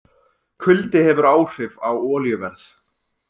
Kuldi hefur áhrif á olíuverð